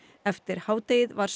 eftir hádegi var